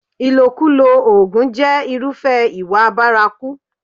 Ìlòkulò oògùn jẹ́ irúfẹ́ ìwà bárakú.